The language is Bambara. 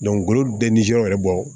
ngolo bɛɛ nisɔndiyara bɔ